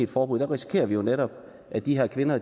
forbud risikerer vi jo netop at de her kvinder